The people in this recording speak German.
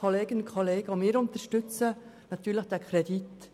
Auch wir unterstützen natürlich den Kredit.